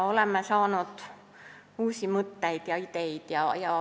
Oleme saanud uusi mõtteid ja ideid.